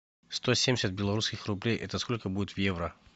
сто семьдесят белорусских рублей это сколько будет в евро